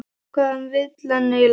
Hvað vill hann eiginlega?